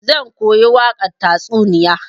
Zan koyi wakar tatsuniyan.